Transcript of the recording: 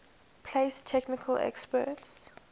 place technical experts